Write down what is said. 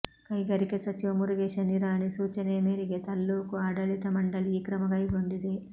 ಕೈಗಾರಿಕೆ ಸಚಿವ ಮುರುಗೇಶ ನಿರಾಣಿ ಸೂಚನೆಯ ಮೇರೆಗೆ ತಾಲ್ಲೂಕು ಆಡಳಿತ ಮಂಡಳಿ ಈ ಕ್ರಮ ಕೈಗೊಂಡಿದೆ